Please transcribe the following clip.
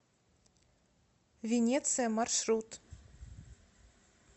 венеция маршрут